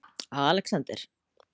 Alexander